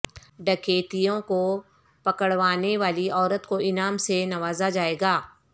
ڈکیتوں کو پکڑوانے والی عورت کو انعام سے نوازا جائے گا